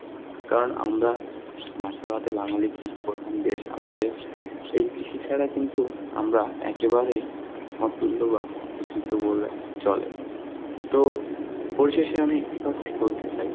কারণ আমরা মাছে ভাতে বাঙালি কৃষি প্রধান দেশ আমাদের, এই কৃষি ছাড়া কিন্তু আমরা একেবারে অতুল্য বা অপরিচিত বললেই চলে. তো পরিশেষে আমি একটি কথাই বলতে চাই